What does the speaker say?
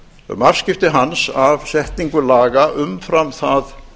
um afskipti hans af setningu laga umfram það